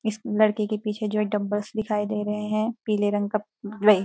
इस लड़के के पीछे जो है डंबल्स दिखाई दे रहे हैं पीले रंग का --